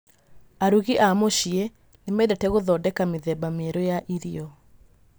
Arugi a mũciĩ nĩ mendete gũthondeka mĩthemba mĩerũ ya irio.